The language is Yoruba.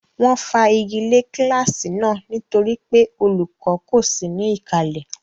Wọ́n fa igi lé kíláàsì náà nítorí pé olùkọ́ kò sí ní ìkàlẹ̀.